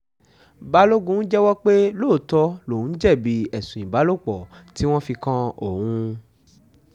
balógun jẹ́wọ́ pé lóòótọ́ lòún jẹ̀bi ẹ̀sùn ìbálòpọ̀ tí wọ́n fi kan òun